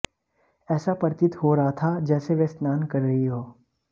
ऐसा प्रतीत हो रहा था जैसे वह स्नान कर रही हो